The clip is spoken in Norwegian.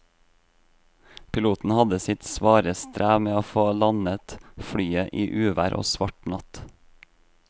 Piloten hadde sitt svare strev med å få landet flyet i uvær og svart natt.